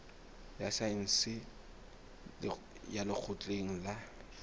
ya saense ya lekgotleng la